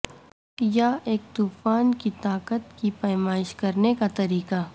یا ایک طوفان کی طاقت کی پیمائش کرنے کا طریقہ